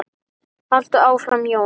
Haltu áfram Jón!